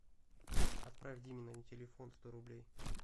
отправь диме на телефон сто рублей